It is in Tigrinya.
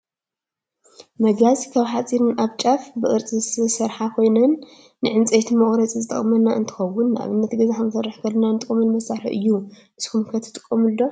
መጋዝ ካብ ሓፂን ኣብ ጫፉ ብቅርፂ ዝተሰረሓ ኮይኑ ንዕንፀይቲ መቁረፂ ዝጠቅመና እንትከውን ንኣብነት ገዛ ክንሰርሕ ከለና ንጥቀመሉ መሳሪሒ እዩ። ንስኩም ከ ትጠቅሙሉ ዶ ?